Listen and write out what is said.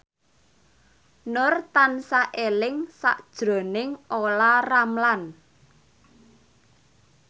Nur tansah eling sakjroning Olla Ramlan